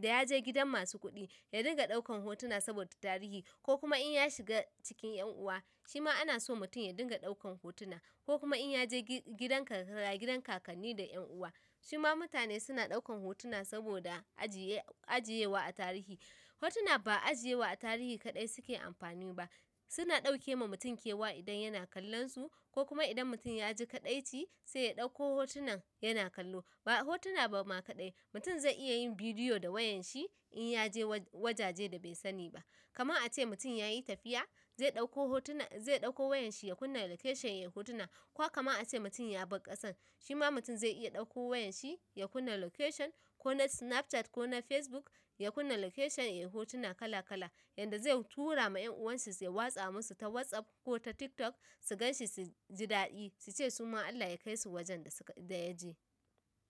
da ya je gidan masu kuɗi, ya dinga ɗaukan hotuna saboda tarihi ko kuma in ya shiga cikin yan uwa, shi ma ana so mutum ya dinga ɗaukan hotuna ko kuma in ya je gi-gidan karkara, gidan kakanni da yan uwa, shi ma mutane suna ɗaukan hotuna saboda ajiye, ajiye wa a tarihi. Hotuna ba ajiye wa a tarihi kaɗai suke amfani ba, suna ɗauke ma mutum kewa idan yana kallon su ko kuma idan mutum ya ji kaɗaici, sai ya ɗauko hotunan yana kallo. Ba'a hotuna ba ma kaɗai, mutum zai iya yin bidiyo da wayan shi in ya je wajaje da bai sani ba. Kaman a ce mutum ya yi tafiya, zai ɗauko hotuna, zai ɗauko wayan shi ya kunna location ya yi hotuna ko kama a ce mutum ya bar ƙasar, shi ma mutum zai iya ɗauko wayan shi ya kunna location ko na Snapchat ko na Facebook ya kunna location ya yi hotuna kala kala, yadda zai tura ma yan uwanshi su ya watsa musu ta WhatsApp ko ta TikTok, su gan shi su ji daɗi, su ce su ma Allah ya kai su wajen da suka, da ya je.